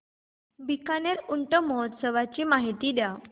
बीकानेर ऊंट महोत्सवाची माहिती द्या